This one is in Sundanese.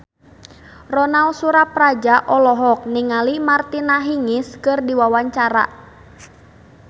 Ronal Surapradja olohok ningali Martina Hingis keur diwawancara